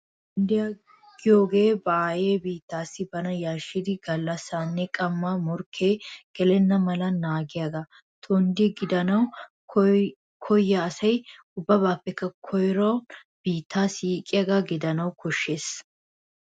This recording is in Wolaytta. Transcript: Tonddiyaa giyogee ba aayee biitteessi bana yarshshidi gallassaanne qammaa morkke gelenna mala naagiyagaa. Tondde gidanawu koyiya asi ubbaappekka koyruwan biittaa siiqiyagaa gidanawu koshshees.